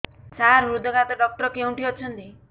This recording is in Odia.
ସାର ହୃଦଘାତ ଡକ୍ଟର କେଉଁଠି ଅଛନ୍ତି